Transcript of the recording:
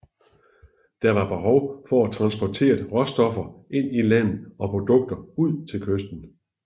Der var behov for at få transporteret råstoffer ind i landet og produkter ud til kysten